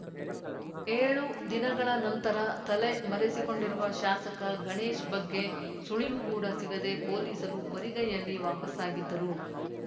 ಏಳು ದಿನಗಳ ನಂತರ ತಲೆ ಮರೆಸಿಕೊಂಡಿರುವ ಶಾಸಕ ಗಣೇಶ್‌ ಬಗ್ಗೆ ಸುಳಿವು ಕೂಡ ಸಿಗದೆ ಪೊಲೀಸರು ಬರಿಗೈಯಲ್ಲಿ ವಾಪಸ್ಸಾಗಿದ್ದರು